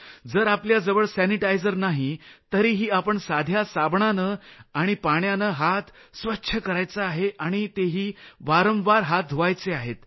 जर आपल्याजवळ सॅनिटायझर नाही तरीही आपण साध्या साबणानं आणि पाण्यानं हात स्वच्छ करायचा आहे आणि तेही वारंवार हात धुवायचे आहेत